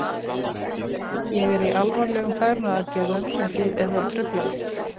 Ég er í alvarlegum fegrunaraðgerðum og þið eruð að trufla mig.